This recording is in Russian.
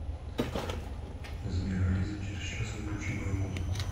сбер алиса через час выключи мою музыку